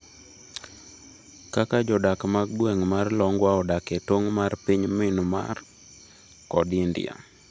Kaka jodak mag gweng' mar Longwa odak e tong' mar piny Myanmar kod India